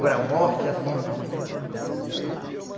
Agora, morte assim, não.